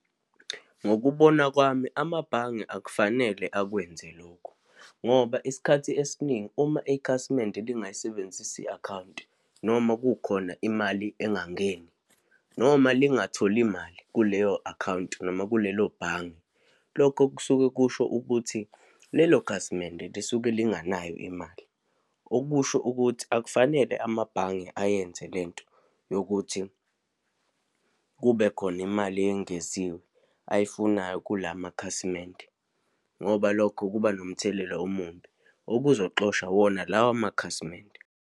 Ngokubona kwami, amabhange akufanele akwenze lokho ngoba isikhathi esiningi uma ikhasimende lingayisebenzisi i-akhawunti, noma kukhona imali engangeni, noma lingatholi mali kuleyo akhawunti, noma kulelo bhange, lokho kusuke kusho ukuthi lelo khasimende lisuke linganayo imali. Okusho ukuthi akufanele amabhange ayenze lento yokuthi kube khona imali eyengeziwe ayifunayo kula makhasimende, ngoba lokho kuba nomthelela omumbi okuzoxosha wona lawa makhasimende.